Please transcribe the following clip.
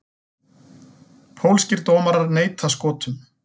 Pólskir dómarar neita Skotum